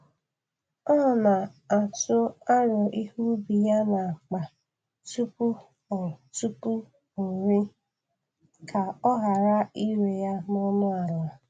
Ọ n'atụ aro ihe ubi ya n’akpa tupu o tupu o ree, ka ọ ghara ire ya n'ọnụ ala